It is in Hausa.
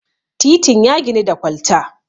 titin ya ginu da kwalta